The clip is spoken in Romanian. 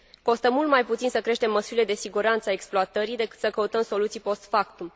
Costă mult mai puțin să creștem măsurile de siguranță a exploatării, decât să căutăm soluții post factum.